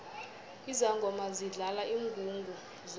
izangoma zidlala ingungu zodwa